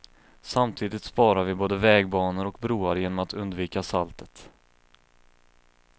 Samtidigt sparar vi både vägbanor och broar genom att undvika saltet.